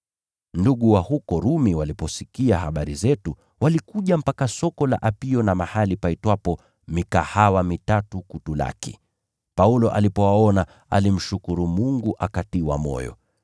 Ndugu wa huko Rumi waliposikia habari zetu, walikuja mpaka Soko la Apio na mahali paitwapo Mikahawa Mitatu kutulaki. Paulo alipowaona, alimshukuru Mungu akatiwa moyo.